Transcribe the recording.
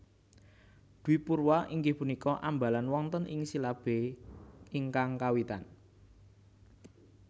Dwipurwa inggih punika ambalan wonten ing silabé ingkang kawitan